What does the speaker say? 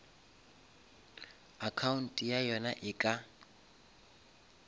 account ya yona e ka